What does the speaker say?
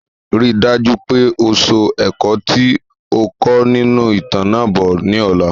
Rí dájú pé o so ẹ̀kọ́ ti o kọ́ nínú ìtàn náà bo ni ọ̀la